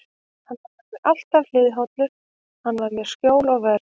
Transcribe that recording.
Hann var mér alltaf góður og hliðhollur, hann var mér skjól og vörn.